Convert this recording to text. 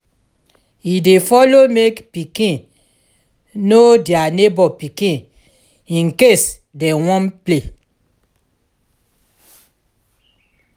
e dey follow mek pikin no dia neibor pikin incase dem wan play